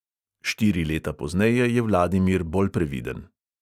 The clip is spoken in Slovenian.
Štiri leta pozneje je vladimir bolj previden.